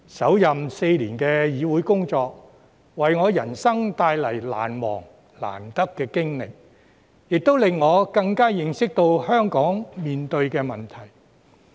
首任4年的議會工作，為我的人生帶來難忘、難得的經歷，亦令我更加認識香港面對的問題。